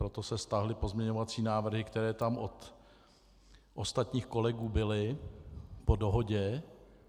Proto se stáhly pozměňovací návrhy, které tam od ostatních kolegů byly, po dohodě.